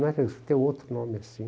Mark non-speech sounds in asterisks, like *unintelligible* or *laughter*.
Não, *unintelligible* tem outro nome assim.